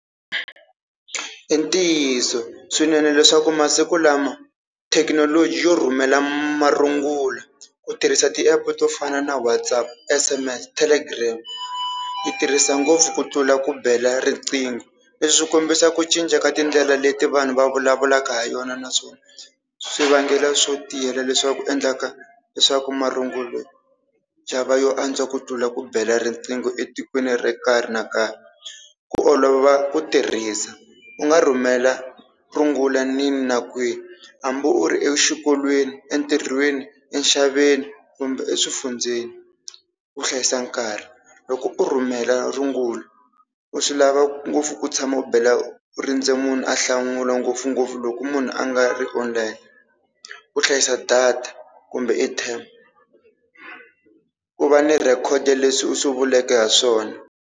I ntiyiso swinene leswaku masiku lama thekinoloji yo rhumela marungula ku tirhisa ti-app to fana na WhatsApp, S_M_S, Telegram ti tirhisa ngopfu ku tlula ku bela riqingho. Leswi swi kombisa ku cinca ka tindlela leti vanhu va vulavulaka ha yona naswona swivangelo swo tiyela leswaku endlaka leswaku marungulo xava yo antswa ku tlula ku bela riqingho etikweni ro nkarhi no nkarhi. Ku olova ku tirhisa, u nga rhumela rungula kwini na kwini hambi u ri exikolweni, entirhweni, enxaveni kumbe eswifundzeni. Ku hlayisa nkarhi loko u rhumela rungula u swi lava ngopfu ku tshama u bela u rindze munhu a hlamula ngopfungopfu loko munhu a nga ri online. Ku hlayisa data kumbe airtime, ku va ni record ya leswi u swi vuleke ha swona.